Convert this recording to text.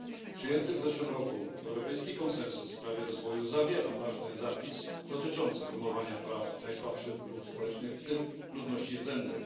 Przyjęty w zeszłym roku europejski konsensus w sprawie rozwoju zawiera ważny zapis dotyczący promowania praw najsłabszych grup społecznych, w tym ludności rdzennej.